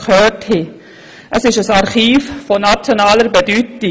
Es ist ein Archiv von nationaler Bedeutung.